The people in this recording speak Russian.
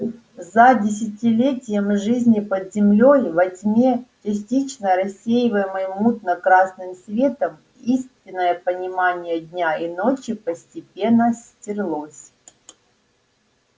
за десятилетия жизни под землёй во тьме частично рассеиваемой мутно красным светом истинное понимание дня и ночи постепенно стёрлось